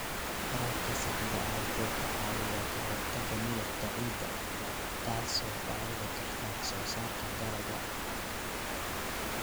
Waraabka saxda ah wuxuu ka caawiyaa ka hortagga milixda ciidda, taasoo dhaawici karta wax soo saarka dalagga.